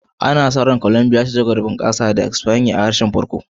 Ana sa ran Colombia za ta ci gaba da bunƙasa tare da yaren Espanya a matsayin harshen farko,